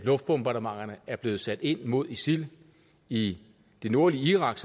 luftbombardementerne er blevet sat ind mod isil i det nordlige irak